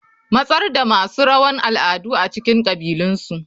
Matsar da masu rawan al'adu a cikin kabilunsu.